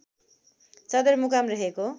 सदरमुकाम रहेको